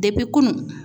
Depi kunun